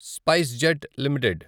SpiceJet limited